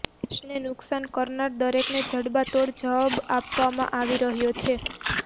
દેશને નુકસાન કરનારા દરેકને જડબાતોડ જવાબ આપવામાં આવી રહ્યો છે